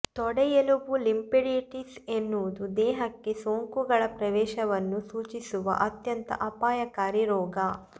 ತೊಡೆಯೆಲುಬು lymphadenitis ಎನ್ನುವುದು ದೇಹಕ್ಕೆ ಸೋಂಕುಗಳ ಪ್ರವೇಶವನ್ನು ಸೂಚಿಸುವ ಅತ್ಯಂತ ಅಪಾಯಕಾರಿ ರೋಗ